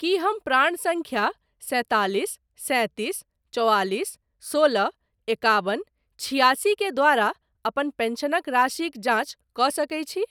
की हम प्राण सङ्ख्या सैंतालिस सैतीस चौआलिस सोलह एकाबन छिआसी के द्वारा अपन पेंशनक राशिक जाँच कऽ सकैत छी ?